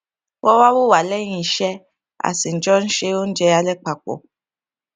wón wá wò wá léyìn iṣé a sì jọ ń se oúnjẹ alé papò